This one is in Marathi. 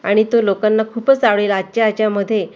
आणि तो लोकांना खूपच आवडेल आजच्या याच्यामध्ये--